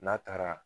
N'a taara